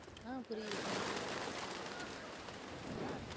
ஆஹ் புரியுதுக்கா.